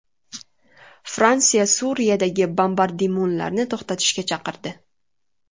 Fransiya Suriyadagi bombardimonlarni to‘xtatishga chaqirdi.